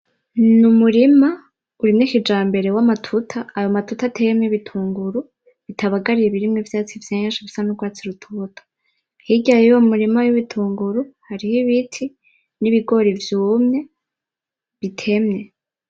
Ni umurima urimye kijambere w'amatuta , ayo matuta ateyemwo ibitunguru bitabaganye bitarimwo ivyatsi vyinshi bisa n'urwatsi rutoto, hirya yuwo murima w'ibitunguru hariyo ibiti n'ibigori vyumye bitemye.